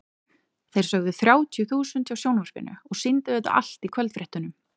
Þeir sögðu þrjátíu þúsund hjá sjónvarpinu og sýndu þetta allt í kvöldfréttunum.